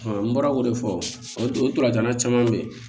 n bɔra k'o de fɔ o dolantana caman bɛ yen